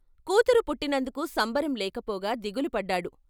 కూతురు పుట్టినందుకు సంబరం లేకపోగా దిగులు పడ్డాడు.